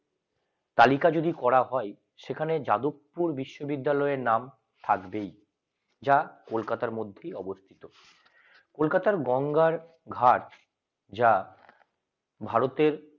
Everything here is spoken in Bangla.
তালিকা যদি করা হয় সেখানে যাদবপুর বিশ্ববিদ্যালয়ের নাম থাকবেই আচ্ছা কলকাতার মধ্যে অবস্থিত কলকাতার গঙ্গার ঘাট যা ভারত